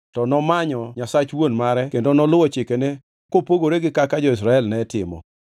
to nomanyo Nyasach wuon mare kendo noluwo chikene kopogore gi kaka jo-Israel ne timo.